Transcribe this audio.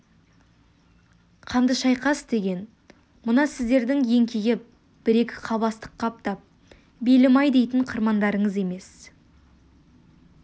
қанды шайқас деген мына сіздердің еңкейіп бір-екі қап астық қаптап белім-ай дейтін қырмандарыңыз емес